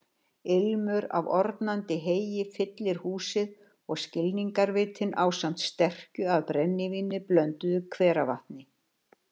Ilmur af ornandi heyi fyllir húsið og skilningarvitin ásamt sterkju af brennivíni blönduðu hveravatni.